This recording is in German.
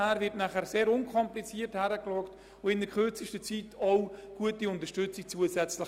Wir handeln dann unkompliziert und gewähren die zusätzliche Unterstützung rasch.